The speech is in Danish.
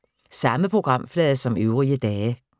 Samme programflade som øvrige dage